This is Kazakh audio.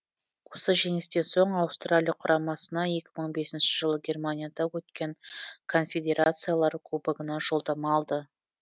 осы жеңістен соң аустралия құрамасына екі мың бесінші жылы германияда өткен конфедерациялар кубогына жолдама алды